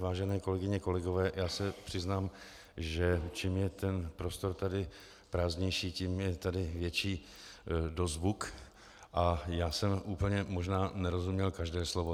Vážené kolegyně, kolegové, já se přiznám, že čím je ten prostor tady prázdnější, tím je tady větší dozvuk a já jsem úplně možná nerozuměl každé slovo.